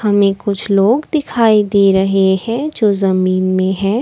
में कुछ लोग दिखाई दे रहे हैं जो जमीन में हैं।